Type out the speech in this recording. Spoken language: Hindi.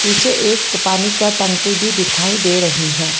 पीछे एक पानी का टंकी भी दिखाई दे रही है।